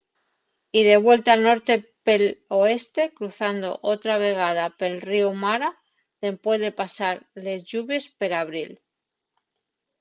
y de vuelta al norte pel oeste cruzando otra vegada pel ríu mara dempués de pasar les lluvies per abril